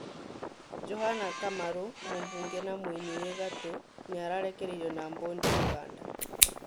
Johana Kamaru mũbunge na mũini wĩ gatũ nĩararekereirio na mbondi uganda